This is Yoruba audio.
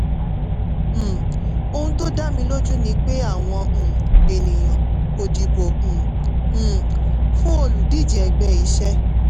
um ohun tó dá mi lójú ni pé àwọn um ènìyàn kò dìbò um um fún olùdíje ẹgbẹ́ iṣẹ́.